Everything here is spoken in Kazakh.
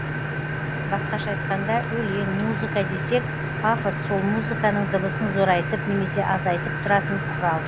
басқаша айтқанда өлең музыка десек пафос сол музыканың дыбысын зорайтып немесе азайтып тұратын құрал